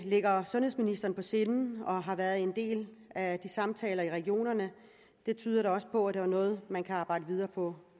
ligger sundhedsministeren på sinde og har været en del af de samtaler i regionerne tyder da også på at det er noget man kan arbejde videre på